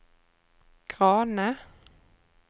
Grane